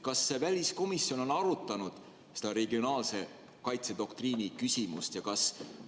Kas väliskomisjon on arutanud seda regionaalse kaitse doktriini küsimust?